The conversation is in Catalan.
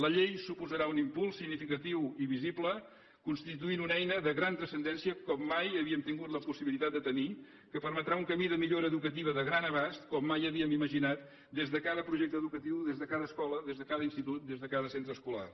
la llei suposarà un impuls significatiu i visible i constitueix una eina de gran transcendència com mai havíem tingut la possibilitat de tenir que permetrà un camí de millora educativa de gran abast com mai havíem imaginat des de cada projecte educatiu des de cada escola des de cada institut des de cada centre escolar